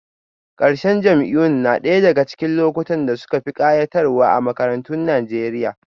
Ƙarshen jam'iyyun na ɗaya daga cikin lokutan da suka fi kayatarwa a makarantun Najeriya